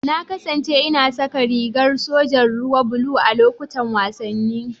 Na kasance ina saka rigar sojan ruwa blue a lokutan wasanni.